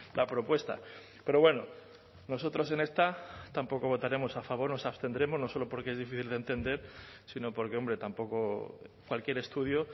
la propuesta pero bueno nosotros en esta tampoco votaremos a favor nos abstendremos no solo porque es difícil de entender sino porque hombre tampoco cualquier estudio